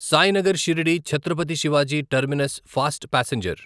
Sainagar Shirdi Chhatrapati Shivaji terminus fast passenger